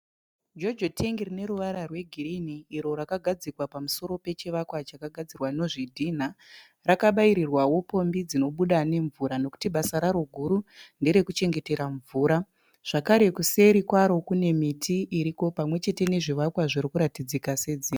Jojo tengi rine ruvara rwegirinhi iro rakagadzikwa pamusoro pechivakwa chakagadzirwa nozvidhinha. Rakabaiyirwawo pombi dzinobuda nemvura nokuti basa raro guru ndere kuchengetera mvura. Zvakare kuseri kwaro kune miti iriko pamwechete nezvivakwa zviri kuratidzika sedzimba.